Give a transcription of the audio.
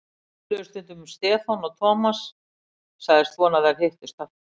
Þau töluðu stundum um Stefán og Thomas sagðist vona að þeir hittust aftur.